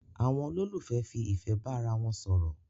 Àwon olólùfẹ́ fi ìfẹ́ bá ara won sòrò